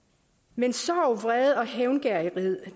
men sorg vrede og hævngerrighed